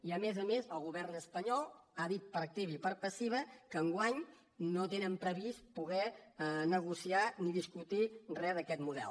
i a més a més el govern espanyol ha dit per activa i per passiva que enguany no tenen pre·vist poder negociar ni discutir re d’aquest model